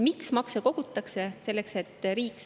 Miks makse kogutakse?